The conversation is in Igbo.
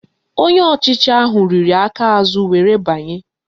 Onye ọchịchị ahụ riri aka aza were banye